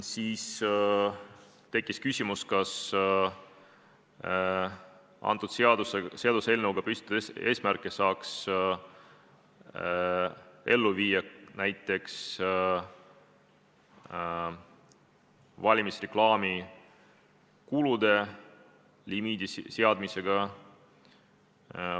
Samuti tekkis küsimus, kas antud seaduseelnõuga püstitatud eesmärke saaks ellu viia näiteks valimisreklaami kuludele limiidi seadmisega.